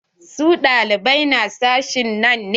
Su ɗalibai na sashin nan ne?